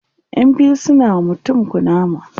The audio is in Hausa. ƴan biyu suna wa mutum kunama